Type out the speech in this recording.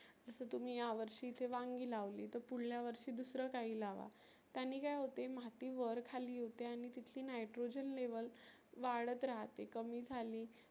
जस तुम्ही या वर्षी वांगी लावली तर पुढल्या वर्षी दुसरं काही लावा. त्यानी काय होते माती वर खाली होते. आणि तिथली nitrogen level वाढत राहते. कमी झाली